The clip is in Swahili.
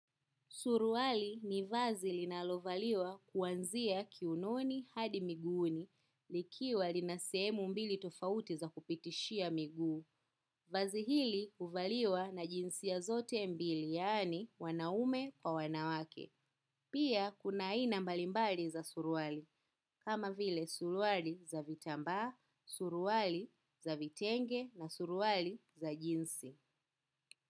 Suruali ni vazi linalovaliwa kuanzia kiunoni hadi miguuni likiwa lina sehemu mbili tofauti za kupitishia miguu. Vazi hili huvaliwa na jinsia zote mbili yani wanaume kwa wanawake. Pia kuna aina mbalimbali za suruali kama vile suruali za vitambaa, suruali za vitenge na suruali za jinsi.